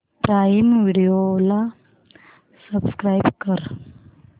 prime Video ला subscribe कर